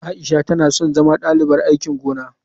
Aisha tana son zama dalibar aikin gona.